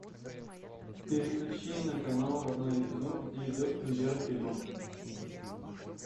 переключи на канал родное кино где идет премьера фильма